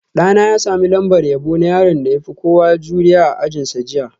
Ɗana ya sami lambar yabo na yaron da ya fi kowa zuri'a a ajinsa jiya